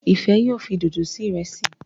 Ifẹ yóò fí dodo sí Ìrẹsí.